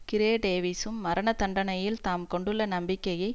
கிறே டேவிசும் மரண தண்டனையில் தாம் கொண்டுள்ள நம்பிக்கையை